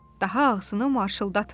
Daha ağzını marçıldatma.